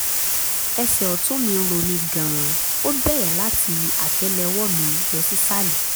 ẹsẹ̀ ọ̀tún mi ń ro mí gan-an ó bẹ̀rẹ̀ láti àtẹ́lẹwọ́ mi lọ sísàlẹ̀